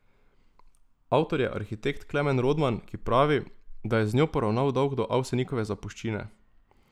Avtor je arhitekt Klemen Rodman, ki pravi, da je z njo poravnal dolg do Avsenikove zapuščine.